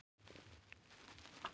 Ég hélt að þú hefðir týnt henni.